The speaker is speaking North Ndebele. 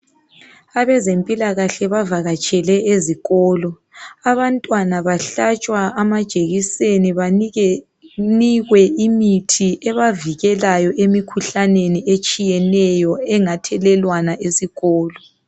Abezempilakahle bavakatshele ezikolo, abantwana bahlatshwa amajekiseni banikwe imithi ebavikelayo emikhuhlaneni etshiyeneyo engathelelwana esikolo.